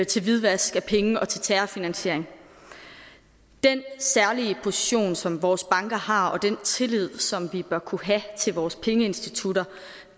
til hvidvask af penge og til terrorfinansiering den særlige position som vores banker har og den tillid som vi bør kunne have til vores pengeinstitutter